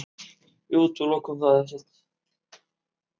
Við útilokum það ekkert.